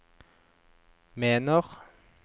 mener